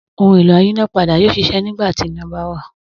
Ohun-èlò ayínápadà yóò ṣiṣẹ́ nígbà tí iná bá wà.